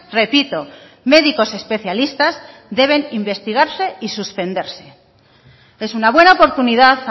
repito médicos especialistas deben investigarse y suspenderse es una buena oportunidad